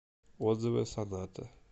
отзывы саната